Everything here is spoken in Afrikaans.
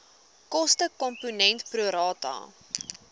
kostekomponent pro rata